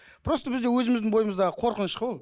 просто бізде өзіміздің бойымыздағы қорқыныш қой ол